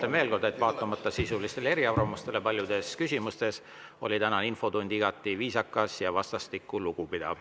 Ütlen veel kord, et vaatamata sisulistele eriarvamustele paljudes küsimustes, oli tänane infotund igati viisakas ja vastastikku lugupidav.